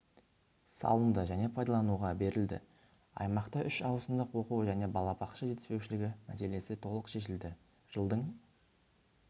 салынды және пайдалануға берілді аймақта үш ауысымдық оқу және балабақша жетіспеушілігі мәселесі толық шешілді жылдың